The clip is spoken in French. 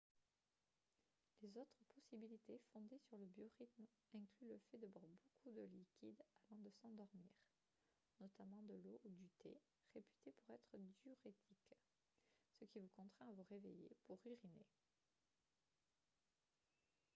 les autres possibilités fondées sur le biorythme incluent le fait de boire beaucoup de liquides avant de s'endormir notamment de l'eau ou du thé réputés pour être diurétiques ce qui vous contraint à vous réveiller pour uriner